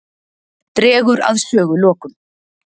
Dregur að sögulokum.